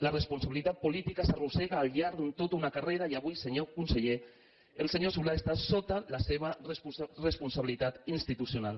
la responsabilitat política s’arrossega al llarg de tota una carrera i avui senyor conseller el senyor solà està sota la seva responsabilitat institucional